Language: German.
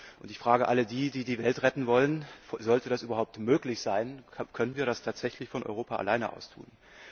Und ich frage alle die, die die Welt retten wollen Sollte das überhaupt möglich sein, können wir das tatsächlich von Europa aus alleine tun?